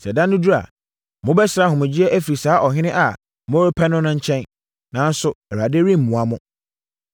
Sɛ ɛda no duru a, mobɛsrɛ ahomegyeɛ afiri saa ɔhene a morepɛ no no nkyɛn, nanso Awurade remmoa mo.”